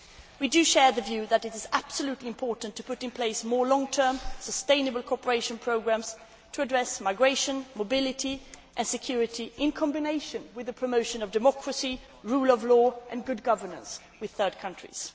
groups. We share the view that it is crucial to put in place more long term, sustainable cooperation programmes to address migration, mobility and security, in combination with the promotion of democracy, the rule of law and good governance with third countries.